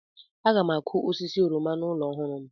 Aga m akụ osisi oroma n'ụlọ ọhụrụ m.